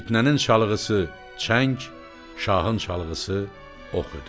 Fitnənin çalğısı çəng, şahın çalğısı ox idi.